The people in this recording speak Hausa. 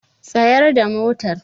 Tsayar da motar!